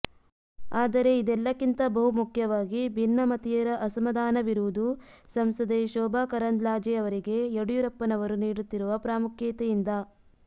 ಆದರೆ ಇದೆಲ್ಲಕ್ಕಿಂತ ಬಹು ಮುಖ್ಯವಾಗಿ ಭಿನ್ನಮತೀಯರ ಅಸಮಾಧಾನವಿರುವುದು ಸಂಸದೆ ಶೋಭಾ ಕರಂದ್ಲಾಜೆಯವರಿಗೆ ಯಡಿಯೂರಪ್ಪನವರು ನೀಡುತ್ತಿರುವ ಪ್ರಾಮುಖ್ಯತೆಯಿಂದ